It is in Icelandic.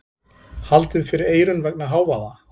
Haldið fyrir eyrun vegna hávaða.